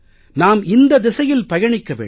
நாம் இந்தத் திசையில் பயணிக்க வேண்டும்